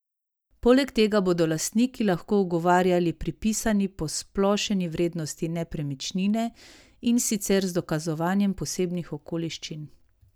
Poleg tega bodo lastniki lahko ugovarjali pripisani posplošeni vrednosti nepremičnine, in sicer z dokazovanjem posebnih okoliščin.